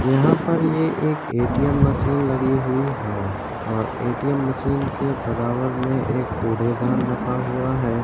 यहाँ पर ये एक ए.टी.एम मशीन लगी हुई है और ए.टी.एम मशीन के बराबर में एक खुड़े दान रखा हुआ है।